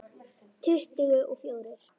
Tuttugu og fjórir.